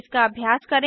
इसका अभ्यास करें